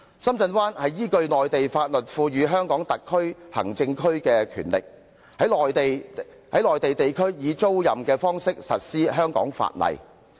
深圳灣是依據內地法律，賦予香港特別行政區權力，把屬內地的領土租予香港，實施香港的法例。